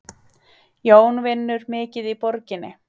Jón vinnur mikið í borginni.